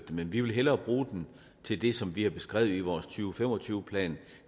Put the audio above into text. men vi vil hellere bruge den til det som vi har beskrevet i vores to tusind og tyve plan